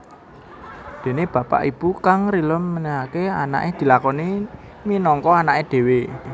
Dene bapak/ibu kang rila menehake anake diakoni minangka anake dhewe